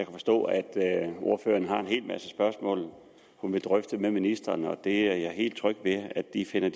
forstå at ordføreren har en hel masse spørgsmål hun vil drøfte med ministeren og det er jeg helt tryg ved at de finder